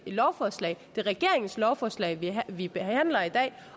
lovforslaget det er regeringens lovforslag vi behandler i dag